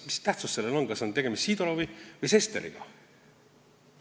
Mis tähtsust sellel on, kas on tegemist Sidorovi või Sesteriga?